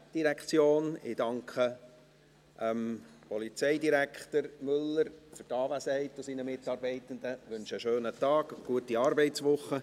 Ich danke Polizeidirektor Müller und seinen Mitarbeitenden für die Anwesenheit und wünsche einen schönen Tag und eine gute Arbeitswoche.